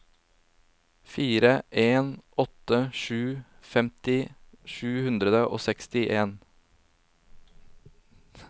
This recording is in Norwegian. fire en åtte sju femti sju hundre og seksti